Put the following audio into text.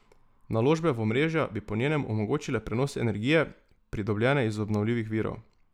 Naložbe v omrežja bi po njenem omogočile prenos energije, pridobljene iz obnovljivih virov.